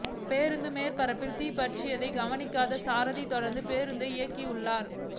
பேருந்தின் மேற்பரப்பில் தீ பற்றியதை கவனிக்காத சாரதி தொடர்ந்து பேருந்தை இயக்கியுள்ளார்